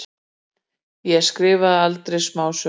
Ég skrifaði aldrei smásögu.